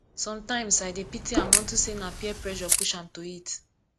sometimes i dey pity am unto say na peer pressure push am to it